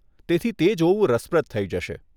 તેથી તે જોવું રસપ્રદ થઇ જશે.